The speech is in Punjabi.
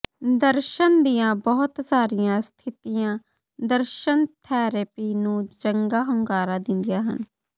ਦਰਸ਼ਣ ਦੀਆਂ ਬਹੁਤ ਸਾਰੀਆਂ ਸਥਿਤੀਆਂ ਦਰਸ਼ਨ ਥੈਰੇਪੀ ਨੂੰ ਚੰਗਾ ਹੁੰਗਾਰਾ ਦਿੰਦੀਆਂ ਹਨ